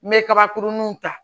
N bɛ kabakuruninw ta